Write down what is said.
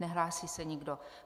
Nehlásí se nikdo.